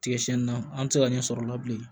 Tigɛ siyɛnni na an ti se ka ɲɛ sɔrɔ o la bilen